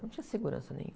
Não tinha segurança nenhuma.